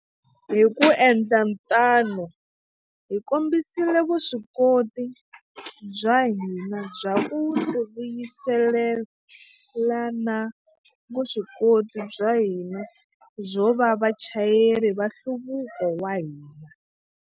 Hi ku endla tano, hi kombisile vuswikoti bya hina bya ku tivuyisela na vuswikoti bya hina byo va vachayeri va nhluvuko wa hina.